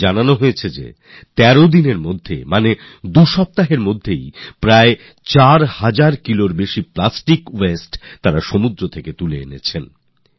আমাকে বলা হয়েছে গত ১৩ দিনে অর্থাৎ দু সপ্তাহে ৪০০ কিলোর বেশি প্লাস্টিক ওয়াস্তে তারা সমুদ্র থেকে তুলে এনেছেন